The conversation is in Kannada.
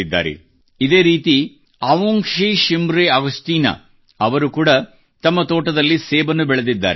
ಇದೇ ರೀತಿ ಅವುಂಗ್ಶಿ ಶಿಮರೆ ಆಗಸ್ಟೀನಾ ಅವುಂಗ್ಷೀ ಶಿಮ್ರೆ ಆಗಸ್ಟೀನ ಅವರು ಕೂಡಾ ತಮ್ಮ ತೋಟದಲ್ಲಿ ಸೇಬನ್ನು ಬೆಳೆದಿದ್ದಾರೆ